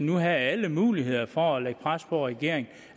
nu havde alle muligheder for at lægge pres på regeringen